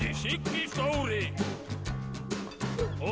Siggi stóri og